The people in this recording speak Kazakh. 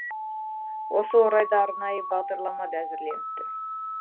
осы орайда арнайы бағдарлама да әзірленіпті